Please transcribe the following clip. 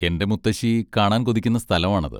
എന്റെ മുത്തശ്ശി കാണാൻ കൊതിക്കുന്ന സ്ഥലമാണത്.